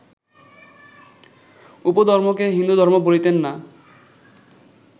উপধর্মকে হিন্দুধর্ম বলিতেন না